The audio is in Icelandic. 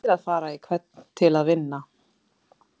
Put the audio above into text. Það eiga allir að fara í hvern leik til að vinna.